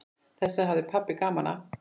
Þessu hafði pabbi gaman af.